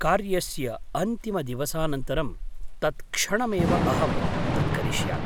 कार्यस्य अन्तिमदिवसानन्तरं तत्क्षणमेव अहं तत् करिष्यामि।